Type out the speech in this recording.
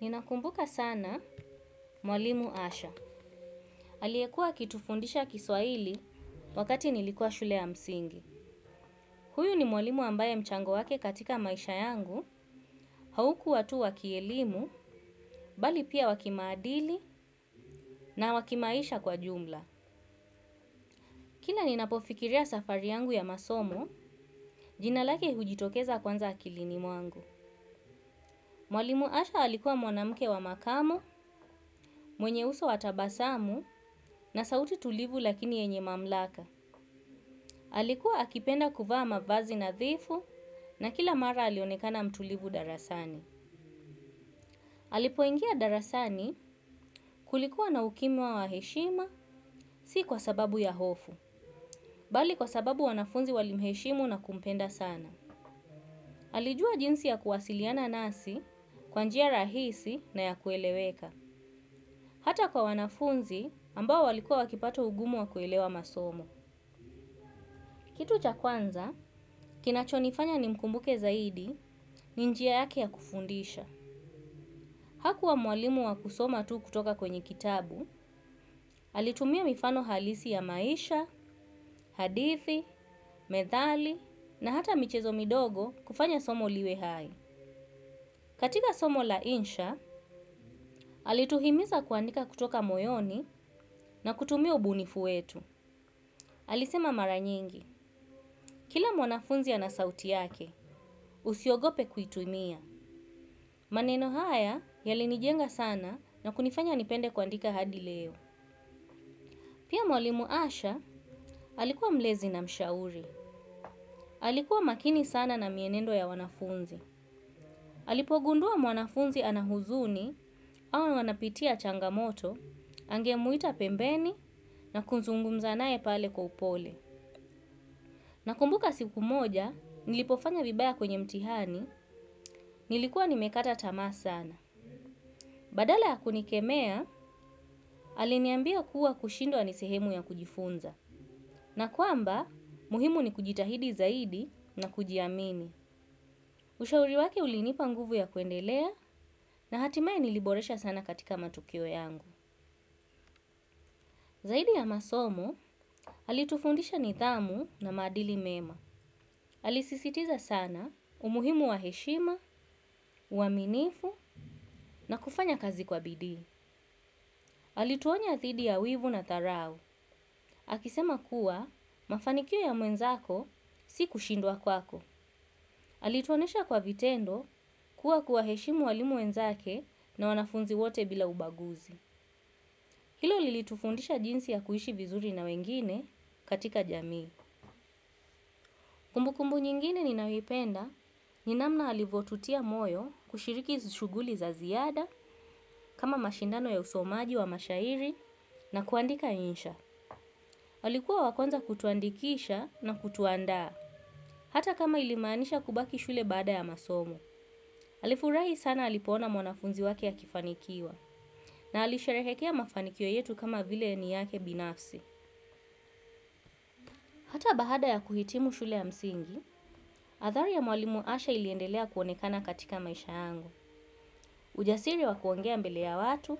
Ninakumbuka sana mwalimu Asha. Aliekuwa akitufundisha kiswahili wakati nilikua shule ya msingi. Huyu ni mwalimu ambaye mchango wake katika maisha yangu, haukuwa tu wa kielimu, bali pia wa kimaadili na wa kimaisha kwa ujumla. Kila ninapofikiria safari yangu ya masomo, jina lake hujitokeza kwanza akilini mwangu. Mwalimu Asha alikuwa mwanamke wa makamo, mwenye uso wa tabasamu na sauti tulivu lakini yenye mamlaka. Alikuwa akipenda kuvaa mavazi nathifu na kila mara alionekana mtulivu darasani. Alipoingia darasani kulikuwa na ukimya wa heshima si kwa sababu ya hofu, bali kwa sababu wanafunzi walimheshimu na kumpenda sana. Alijua jinsi ya kuwasiliana nasi kwa njia rahisi na ya kueleweka. Hata kwa wanafunzi ambao walikuwa wakipata ugumu wa kuelewa masomo. Kitu cha kwanza, kinachonifanya nimkumbuke zaidi, ni njia yake ya kufundisha. Hakuwa mwalimu wa kusoma tu kutoka kwenye kitabu, alitumia mifano halisi ya maisha, hadithi, methali, na hata michezo midogo kufanya somo liwe hai. Katika somo la insha, alituhimiza kuandika kutoka moyoni na kutumia ubunifu wetu. Alisema mara nyingi, kila mwanafunzi ana sauti yake, usiogope kuitumia. Maneno haya, yalinijenga sana na kunifanya nipende kuandika hadi leo. Pia mwalimu asha, alikuwa mlezi na mshauri. Alikuwa makini sana na mienendo ya wanafunzi. Alipogundua mwanafunzi ana huzuni au anapitia changamoto angemuita pembeni. Na kuzungumza naye kwa upole. Nakumbuka siku moja, nilipofanya vibaya kwenye mtihani, nilikuwa nimekata tamaa sana. Badala ya kunikemea, aliniambia kuwa kushindwa ni sehemu ya kujifunza. Na kwamba, muhimu ni kujitahidi zaidi na kujiamini. Ushauri wake ulinipa nguvu ya kuendelea na hatimaye niliboresha sana katika matokeo yangu. Zaidi ya masomo, alitufundisha nithamu na maadili mema. Alisisitiza sana umuhimu wa heshima, uaminifu na kufanya kazi kwa bidii. Alituonya thidi ya wivu na dharau. Akisema kuwa mafanikio ya mwenzako si kushindwa kwako. Alituonesha kwa vitendo kwa kuwaheshimu walimu wenzake na wanafunzi wote bila ubaguzi. Hilo lilitufundisha jinsi ya kuishi vizuri na wengine katika jamii. Kumbu kumbu nyingine ninayoipenda, ni namna alivyotutia moyo kushiriki shughuli za ziada kama mashindano ya usomaji wa mashairi na kuandika insha. Alikuwa wa kwanza kutuandikisha na kutuandaa. Hata kama ilimaanisha kubaki shule baada ya masomo, alifurahi sana alipoona mwanafunzi wake akifanikiwa na alisherehekea mafanikio yetu kama vile ni yake binafsi. Hata baada ya kuhitimu shule ya msingi, athari ya mwalimu asha iliendelea kuonekana katika maisha angu. Ujasiri wa kuongea mbele ya watu,